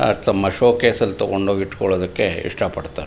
ಆಗ್ ತಮ್ಮ showcase ನಲ್ಲಿ ತಗೊಂಡ್ ಹೋಗ್ ಇಟ್ಕೊಳ್ಳೋಕೆ ಇಷ್ಟ ಪಡ್ತಾರೆ.